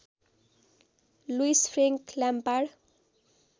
Louis Frank Lampard